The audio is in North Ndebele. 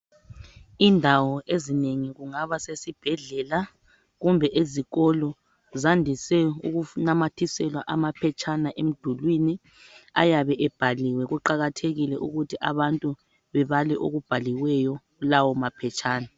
Indawo ezinengi kungaba sesibhedlela kumbe ezikolo zandise ukunamathiselwa amaphetshana emdulini ayabe ebhaliwe kuqakathekile ukuthi abantu bebale okubhaliweyo kulawo maphetshana.